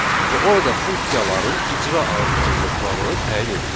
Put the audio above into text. Və orada funksiyaların icra ardıcıllıqları təyin edilir.